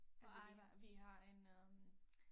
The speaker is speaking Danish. Altså vi vi har en øh